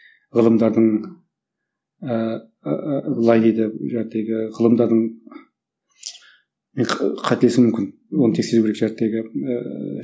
ғылымдардың ыыы былай дейді ғылымдардың мен қателесуім мүмкін оны тексеру керек ыыы